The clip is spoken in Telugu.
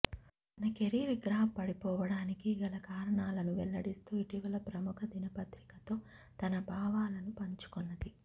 తన కెరీర్ గ్రాఫ్ పడిపోవడానికి గల కారణాలను వెల్లడిస్తూ ఇటీవల ప్రముఖ దినపత్రికతో తన భావాలను పంచుకొన్నది